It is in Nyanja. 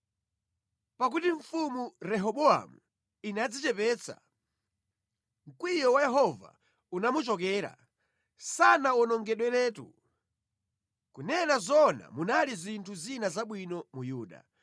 Pakuti mfumu Rehobowamu inadzichepetsa, mkwiyo wa Yehova unamuchokera, sanawonongedweretu. Kunena zoona, munali zinthu zina zabwino mu Yuda.